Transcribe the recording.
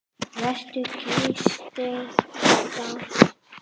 Vertu kurteis við þá!